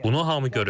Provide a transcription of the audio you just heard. Bunu hamı görüb.